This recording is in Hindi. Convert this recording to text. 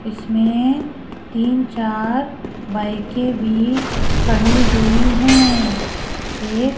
इसमें तीन चार बाइके के भी खड़ी हुई है एक --